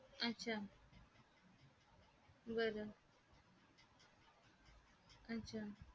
अच्छा बर अच्छा.